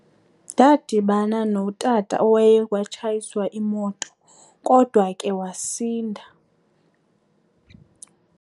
Ndadibana notata oye watshayiswa imoto kodwa ke wasinda.